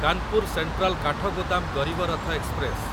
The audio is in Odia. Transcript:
Kanpur central Kathgodam Garib Rath express